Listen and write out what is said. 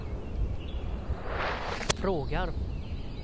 frågar